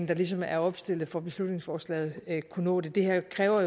der ligesom er opstillet for beslutningsforslaget kunne nå det det her kræver